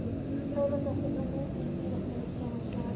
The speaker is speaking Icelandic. Þórðardóttir frá Núpi í Dýrafirði, Sigmundssonar.